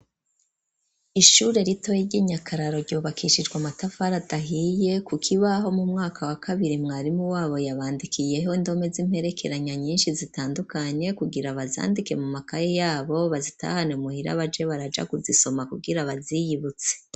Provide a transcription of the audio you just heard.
Ishure ritoyi ry'i Nyakararo, ryubakishijwe amatafari adahiye; ku kibaho, mu mwaka wa kabiri, mwarimu wabo, yabandikiyeho indome, z'imperekeranya, nyinshi zitandukanye; kugira bazandike, mu makaye yabo, bazitahane muhira, baje baraja kuzisoma, kugira baziyibutse.